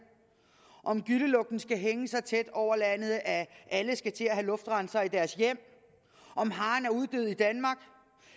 om gyllelugten skal hænge så tæt over landet at alle skal til at have luftrensere i deres hjem om haren er uddød i danmark